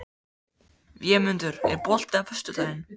Vémundur, er bolti á föstudaginn?